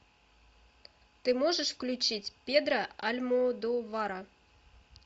ты можешь включить педро альмодовара